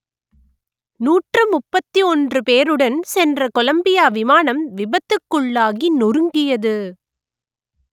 நூற்று முப்பத்தி ஒன்று பேருடன் சென்ற கொலம்பியா விமானம் விபத்துக்குள்ளாகி நொறுங்கியது